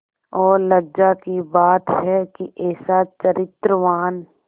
और लज्जा की बात है कि ऐसा चरित्रवान